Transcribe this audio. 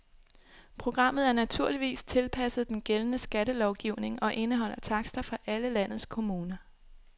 Programmet er naturligvis tilpasset den gældende skattelovgivning og indeholder takster fra alle landets kommuner.